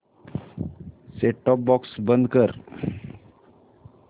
set top box बंद कर